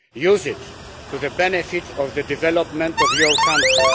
Use it to the benefit of the development of your country.